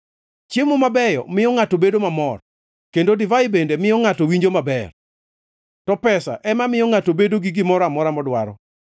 Chiemo mabeyo miyo ngʼato bedo mamor, kendo divai bende miyo ngʼato winjo maber, to pesa ema miyo ngʼato bedo gi gimoro amora modwaro.